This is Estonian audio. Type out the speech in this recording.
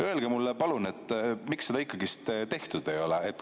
Öelge mulle palun, miks seda ikkagi tehtud ei ole.